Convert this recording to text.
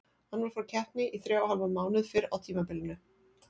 Hann var frá keppni í þrjá og hálfan mánuð fyrr á tímabilinu.